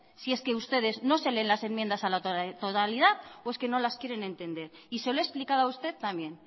si es que ustedes no se leen las enmiendas a la totalidad o es que no las quieren entender y se lo he explicado a usted también